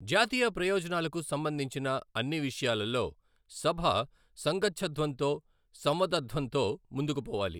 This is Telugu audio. జాతీయ ప్రయోజనాలకు సంబంధించిన అన్ని విషయాలలో, సభ సంగచ్ఛధ్వంతో, సంవదధ్వంతో ముందుకు పోవాలి.